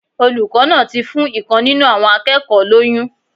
Olùkó náà ti fún ìkan nínú àwọn akékòó lóyún